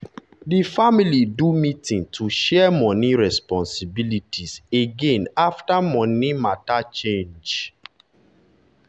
di family do meeting to share money responsibilities again after money matter change.